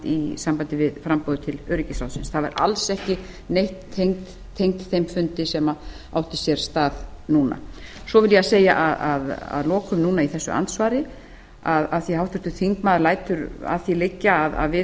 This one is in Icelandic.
í sambandi við framboðið til öryggisráðsins það var alls ekki neitt tengt þeim fundi sem átti sér stað núna svo vil ég segja að lokum núna í þessu andsvari af því að háttvirtur þingmaður lætur að því liggja að við